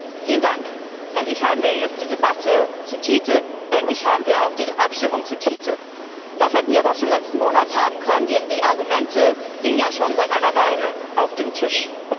Frau Präsidentin! Endlich haben wir jetzt die Debatte zur TTIP, endlich haben wir auch die Abstimmung zur TTIP. Das hätten wir aber auch schon letzten Monat haben können, denn die Argumente liegen ja schon seit einer Weile auf dem Tisch.